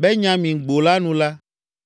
Benyamingbo la nu la,